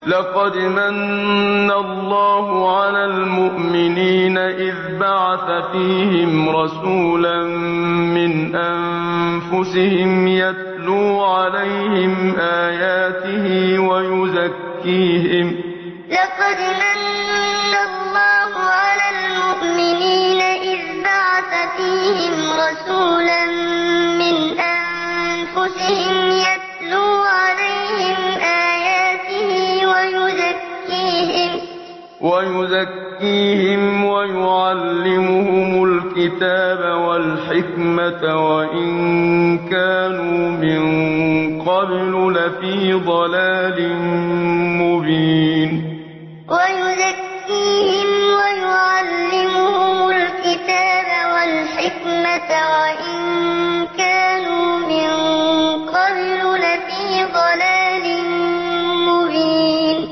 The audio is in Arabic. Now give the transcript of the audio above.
لَقَدْ مَنَّ اللَّهُ عَلَى الْمُؤْمِنِينَ إِذْ بَعَثَ فِيهِمْ رَسُولًا مِّنْ أَنفُسِهِمْ يَتْلُو عَلَيْهِمْ آيَاتِهِ وَيُزَكِّيهِمْ وَيُعَلِّمُهُمُ الْكِتَابَ وَالْحِكْمَةَ وَإِن كَانُوا مِن قَبْلُ لَفِي ضَلَالٍ مُّبِينٍ لَقَدْ مَنَّ اللَّهُ عَلَى الْمُؤْمِنِينَ إِذْ بَعَثَ فِيهِمْ رَسُولًا مِّنْ أَنفُسِهِمْ يَتْلُو عَلَيْهِمْ آيَاتِهِ وَيُزَكِّيهِمْ وَيُعَلِّمُهُمُ الْكِتَابَ وَالْحِكْمَةَ وَإِن كَانُوا مِن قَبْلُ لَفِي ضَلَالٍ مُّبِينٍ